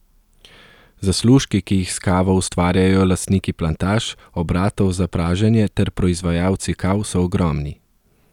Zaslužki, ki jih s kavo ustvarjajo lastniki plantaž, obratov za praženje ter proizvajalci kav so ogromni.